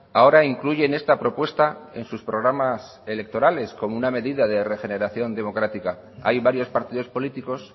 ahora incluyen esta propuesta en sus programas electorales como una medida de regeneración democrática hay varios partidos políticos